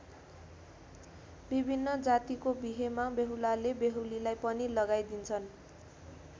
विभिन्न जातिको बिहेमा बेहुलाले बेहुलीलाई पनि लगाइदिन्छन्।